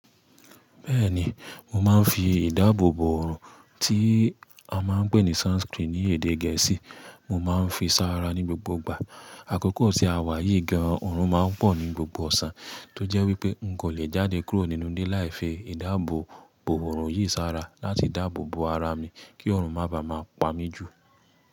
Bẹ́ẹ̀ni, mo máa ń fi ìdáàbòbò ọrùn tí a máa ń pè ní sunscreen ní èdè Gẹ̀ẹ́sì, mo máa ń fi sára ní gbogbo ìgbà. Àkókò tí a wà yìí gan-an, ọrùn máa ń pọ̀ ní gbogbo ọ̀sán, tó jẹ́ wípé n kò lè jáde kúrò nínú ilé láìfẹ́ ìdáàbòbò ọrùn yìí sára láti dáàbòbo ara mi kí ọrùn máa ba à máa pa mí jù.